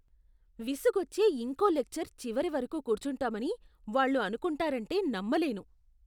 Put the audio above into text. విసుగొచ్చే ఇంకో లెక్చర్ చివరివరకు కూర్చుంటామని వాళ్ళు అనుకుంటారంటే నమ్మలేను.